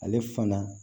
Ale fana